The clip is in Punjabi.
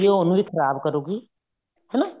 ਉਹਨੂੰ ਵੀ ਖਰਾਬ ਕਰੂਗੀ ਹਨਾ